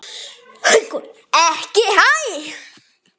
Haukur: Ekki hæ?